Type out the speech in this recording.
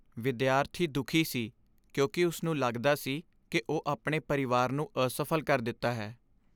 ਵਿਦਿਆਰਥੀ ਦੁਖੀ ਸੀ ਕਿਉਂਕਿ ਉਸਨੂੰ ਲੱਗਦਾ ਸੀ ਕਿ ਉਹ ਆਪਣੇ ਪਰਿਵਾਰ ਨੂੰ ਅਸਫਲ ਕਰ ਦਿੱਤਾ ਹੈ।